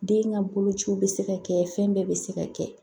Den ka bolociw bɛ se ka kɛ fɛn bɛɛ bɛ se ka kɛ